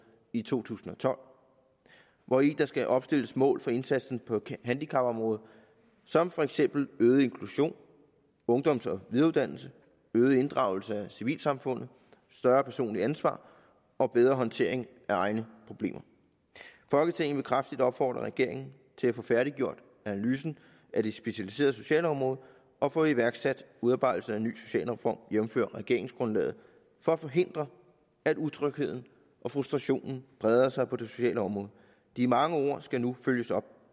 i to tusind og tolv hvori der skal opstilles mål for indsatsen på handicapområdet som for eksempel øget inklusion ungdoms og videreuddannelse øget inddragelse af civilsamfundet større personligt ansvar og bedre håndtering af egne problemer folketinget vil kraftigt opfordre regeringen til at få færdiggjort analysen af det specialiserede socialområde og få iværksat udarbejdelsen af en ny socialreform jævnfør regeringsgrundlaget for at forhindre at utrygheden og frustrationen breder sig på det sociale område de mange ord skal nu følges op